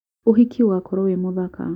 uhiki ugakorwo wĩ mũthaka